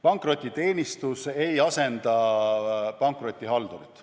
Pankrotiteenistus ei asenda pankrotihaldurit.